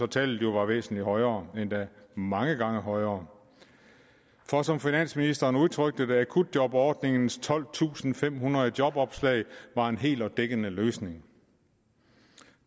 tallet var væsentlig højere endda mange gange højere for som finansministeren udtrykte det akutjobordningens tolvtusinde og femhundrede jobopslag er en hel og dækkende løsning